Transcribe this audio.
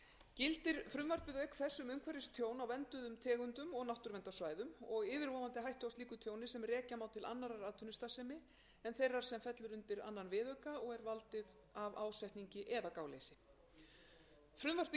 gildir frumvarpið auk þess um umhverfistjón á vernduðum tegundum og náttúruverndarsvæðum og yfirvofandi hættu á slíku tjóni sem rekja má til annarrar atvinnustarfsemi en þeirrar atvinnustarfsemi en þeirra sem fellur undir annan viðauka og er valdur að ásetningi eða gáleysi frumvarpið